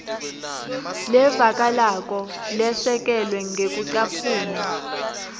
levakalako lesekelwe ngekucaphuna